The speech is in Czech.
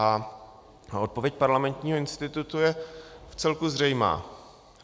A odpověď Parlamentního institutu je vcelku zřejmá.